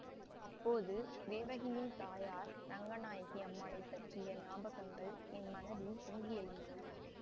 அப்போது தேவகியின் தாயார் ரங்கநாயகி அம்மாளைப்பற்றிய ஞாபகங்கள் என் மனதில் பொங்கி எழுந்தன